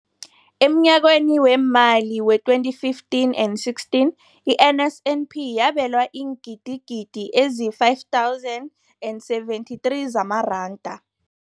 Emnyakeni weemali we-2015 and 16, i-NSNP yabelwa iingidigidi ezi-5 703 zamaranda.